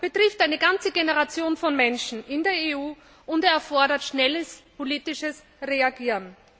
Er betrifft eine ganze Generation von Menschen in der EU, und er erfordert schnelles politisches Reagieren.